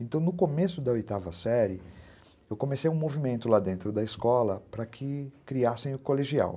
Então, no começo da oitava série, eu comecei um movimento lá dentro da escola para que criassem o colegial.